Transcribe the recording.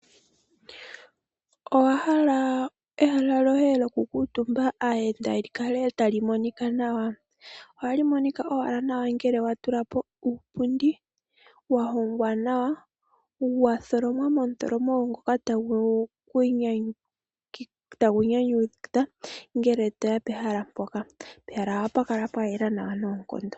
Owa hala ehala lyoye lyokukuutumba aayenda li kale tali monika nawa? Ohali monika owala nawa ngele wa tula po uupundi wa hongwa nawa, wa tholomwa momuthilomo ngoka tagu nyanyudha ngele to ya pehala mpoka. Pehala ohapu kala pwa yela nawa noonkondo.